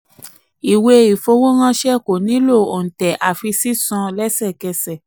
ìwé-ìfowóránṣẹ́ ko nílò òǹtẹ̀ àfi sísan sísan lẹsẹkẹsẹ.